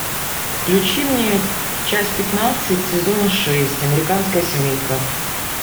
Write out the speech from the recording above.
включи мне часть пятнадцать сезона шесть американская семейка